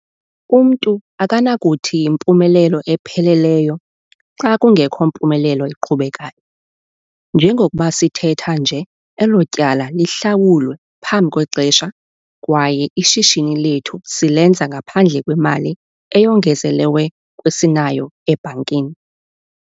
Umntu akanakuthi yimpumelelo epheleleyo, xa kungekho mpumelelo iqhubekayo. Njengokuba sithetha nje elo tyala lihlawulwe phambi kwexesha kwaye ishishini lethu silenza ngaphandle kwemali eyongezelewe kwesinayo ebhankini.